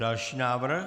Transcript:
Další návrh?